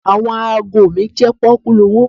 Àwọn ago mi jẹ́ pọ́kúlowó.